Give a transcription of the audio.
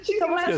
Çox xoşdur.